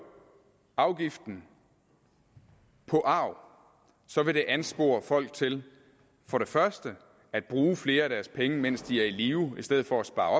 afgiften på arv så vil det anspore folk til at bruge flere af deres penge mens de er i live i stedet for at spare